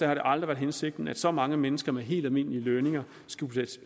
har det aldrig været hensigten at så mange mennesker med helt almindelige lønninger